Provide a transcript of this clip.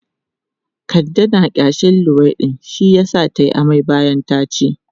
Kande na ƙyashin luwaiɗi shi yasa ta yi amai bayan ta ci.